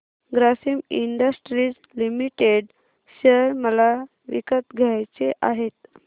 Grasim industries limited share मला विकत घ्यायचे आहेत